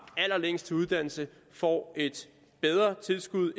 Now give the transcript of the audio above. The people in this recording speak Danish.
allerlængst til uddannelse får et bedre tilskud